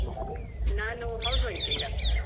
ನಾನು housewife ಈಗ.